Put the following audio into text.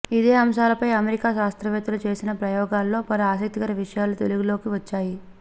ఇదే అంశాలపై అమెరికా శాస్త్రవేతలు చేసిన ప్రయోగాల్లో పలు ఆసక్తికర విషయాలు వెలుగులోకి వచ్చాయి